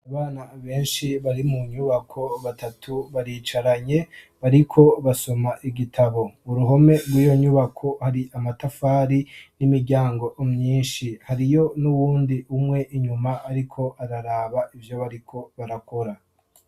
Abana benshi bari mu nyubako, batatu baricaranye, bariko basoma igitabo. Uruhome mw'iyo nyubako hari amatafari n'imiryango myinshi. Hariyo n'uwundi umwe inyuma ariko araraba ivyo bariko barakora.